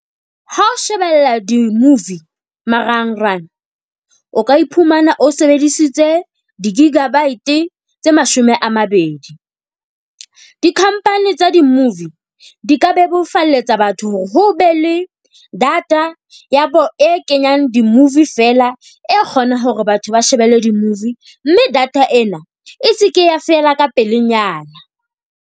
Ha o shebella di-movie marangrang o ka iphumana o sebedisitse di-gigabyte tse mashome a mabedi. Di-company tsa di-movie di ka bebofalletsa batho hore ho be le data ya bo e kenyang di-movie feela. E kgona hore batho ba shebelle di-movie. Mme data ena e se ke ya fela ka pelenyana.